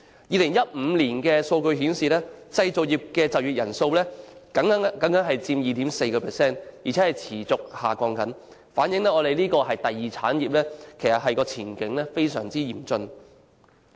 2015年的數據顯示，製造業的就業人數僅佔總就業人數 2.4%， 而且持續下降，反映第二產業的前景非常嚴峻。